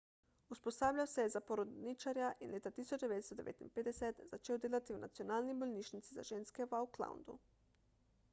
usposabljal se je za porodničarja in leta 1959 začel delati v nacionalni bolnišnici za ženske v aucklandu